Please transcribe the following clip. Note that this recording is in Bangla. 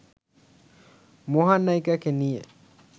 মহানায়িকাকে নিয়ে